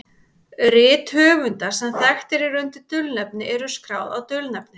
Rit höfunda sem þekktastir eru undir dulnefni eru skráð á dulnefnið.